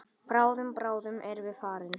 Bráðum, bráðum erum við farin.